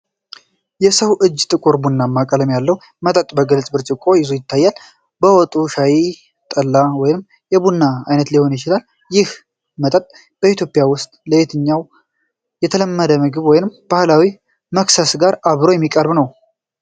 የሰው እጅ ጥቁር ቡናማ ቀለም ያለው መጠጥ በግልጽ ብርጭቆ ይዞ ይታያል። መጠጡ ሻይ፣ ጠላ ወይስ የቡና ዓይነት ሊሆን ይችላል። ይህ መጠጥ በኢትዮጵያ ውስጥ ከየትኛው የተለመደ ምግብ ወይስ ባህላዊ መክሰስ ጋር አብሮ የሚቀርብ ነው?